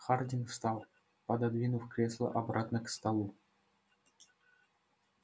хардин встал пододвинув кресло обратно к столу